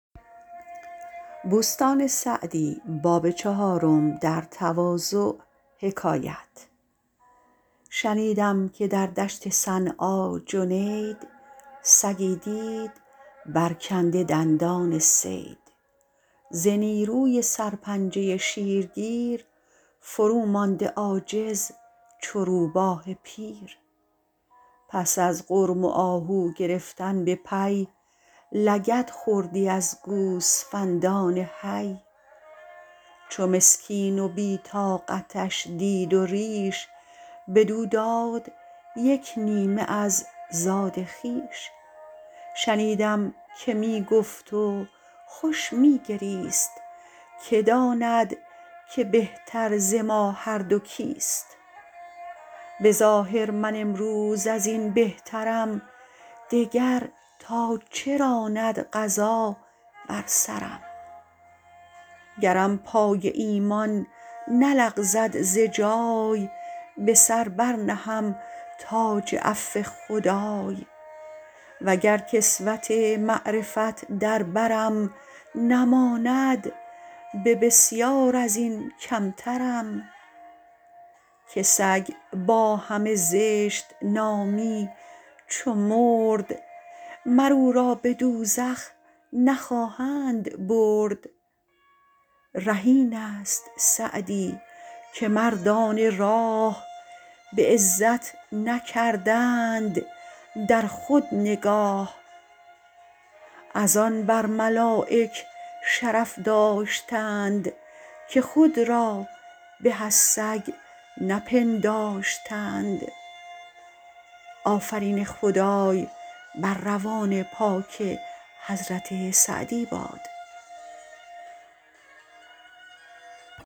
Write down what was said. شنیدم که در دشت صنعا جنید سگی دید برکنده دندان صید ز نیروی سر پنجه شیر گیر فرومانده عاجز چو روباه پیر پس از غرم و آهو گرفتن به پی لگد خوردی از گوسفندان حی چو مسکین و بی طاقتش دید و ریش بدو داد یک نیمه از زاد خویش شنیدم که می گفت و خوش می گریست که داند که بهتر ز ما هر دو کیست به ظاهر من امروز از این بهترم دگر تا چه راند قضا بر سرم گرم پای ایمان نلغزد ز جای به سر بر نهم تاج عفو خدای وگر کسوت معرفت در برم نماند به بسیار از این کمترم که سگ با همه زشت نامی چو مرد مر او را به دوزخ نخواهند برد ره این است سعدی که مردان راه به عزت نکردند در خود نگاه از‍‍‍‍‍‍‍‍ آن بر ملایک شرف داشتند که خود را به از سگ نپنداشتند